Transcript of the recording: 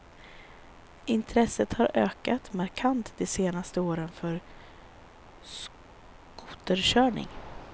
Intresset har ökat markant de senaste åren för skoterkörning.